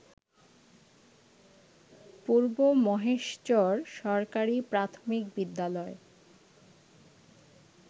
পূর্ব মহেশচর সরকারি প্রাথমিক বিদ্যালয়